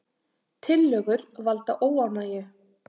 Tillögur valda óánægju